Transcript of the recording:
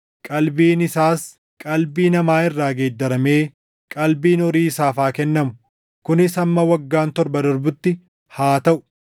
Qalbiin isaas qalbii namaa irraa geeddaramee qalbiin horii isaaf haa kennamu; kunis hamma waggaan torba darbutti haa taʼu.